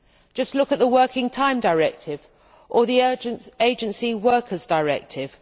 Just look at the Working Time Directive or the Agency Workers' Directive.